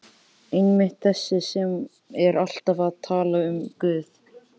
Einmitt- þessi sem er alltaf að tala um Guð.